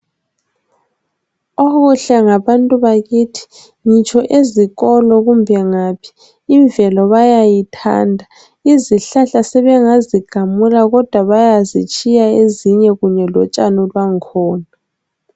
Okuhle ngabantu bakithi ngitsho ezikolo kumbe ngaphi imvelo bayayithanda izihlahla sebengazigamula kodwa bayazitshiya ezinye kanye lotshani lwakhona .